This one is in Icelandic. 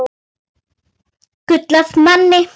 Gull af manni.